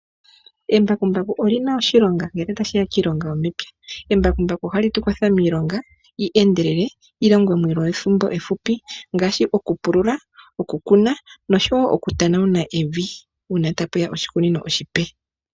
Embakumbaku olina oshilonga ngele otashiya kiilonga yomepywa. Embakumbaku ohali tukwatha miilonga yi endelele yilongwe muule wethimbo ehupi, ngaashi okupulula, okukuna, noshowoo oku tanawuna evi uuna tapuya oshikunino oshipe.